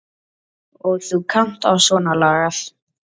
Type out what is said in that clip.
Og þú kannt á svona lagað.